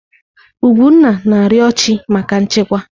Ugwunna na-arịọ chị́ maka nchekwa.